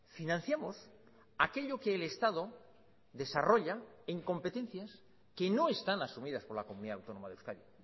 financiamos aquello que el estado desarrolla en competencias que no están asumidas por la comunidad autónoma de euskadi